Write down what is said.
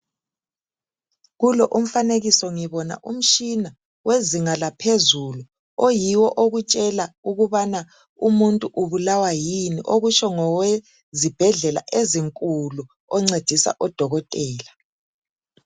Kulo umfanekiso ngibona umtshina wezinga laphezulu oyiwo okutshela ukubana umuntu ubulawa yini okutsho ngowe zibhedlela ezinkulu oncedisa odokotela.